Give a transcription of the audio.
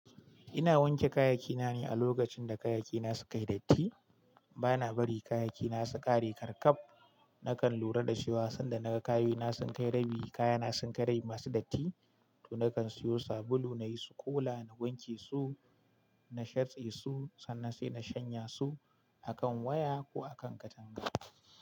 Ina wanke kayayyaki na ne a lokacin da kayayyaki na suka yi datti. Bana bari kayayyaki na su ƙare ƙarƙaf. Nakan lura da cewa sanda na ga kayu na sun kai rabi, kaya na sun kai rabi masu datti, to nakan siyo sabulu nayi sukola, na wanke su, na sharce su sannan sai na shanya su a kan waya ko a kan katanga.